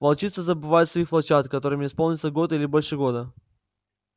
волчицы забывают своих волчат которым исполнился год или больше года